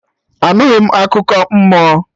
Anughi m akụkọ mmụọ